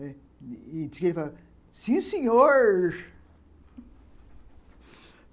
falou, sim, senhor.